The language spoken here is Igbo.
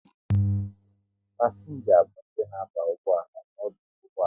Pasienga bụ ndị na aba ụgbọala n'ọdụ ụgbọala